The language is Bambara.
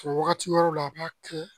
O wagati wɛrɛw la a b'a kɛ